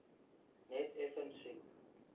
net effens siek